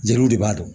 Jeliw de b'a dɔn